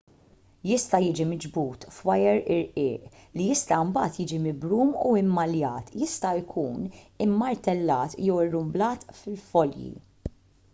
jista' jiġi miġbud f'wajer irqiq li jista' mbagħad jiġi mibrum u mmaljat jista' jkun immartellat jew irrumblat f'folji